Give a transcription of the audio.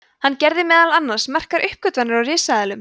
hann gerði meðal annars merkar uppgötvanir á risaeðlum